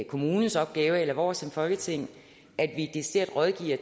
kommunens opgave eller vores opgave som folketing at vi decideret rådgiver